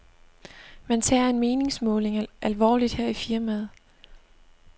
Man tager en meningsmåling alvorligt her i firmaet.